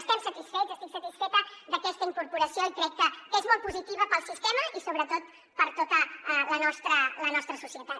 estem satisfets estic satisfeta d’aquesta incorporació i crec que és molt positiva per al sistema i sobretot per a tota la nostra societat